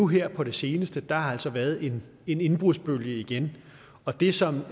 her på det seneste har der altså været en indbrudsbølge igen og det som